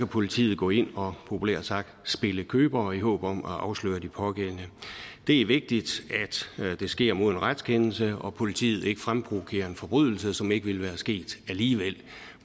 politiet gå ind og populært sagt spille købere i håb om at afsløre de pågældende det er vigtigt at det sker med en retskendelse og politiet ikke fremprovokerer en forbrydelse som ikke ville være sket alligevel